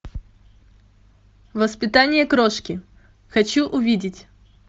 воспитание крошки хочу увидеть